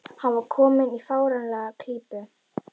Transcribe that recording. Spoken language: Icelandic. Hann var kominn í fáránlega klípu.